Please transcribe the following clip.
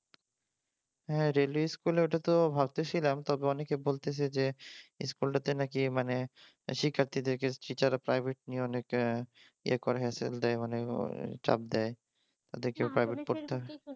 হ্যাঁ railway school ওটা তো ভাবতেছিলাম তবে অনেকে বলতেছে যে স্কুলটাতে নাকি মানে শিক্ষার্তীদেরকে দের টিচাররা প্রাইভেট নিয়ে অনেকে ইয়ে করে হেসেল দেয় মানে চাপ দেয়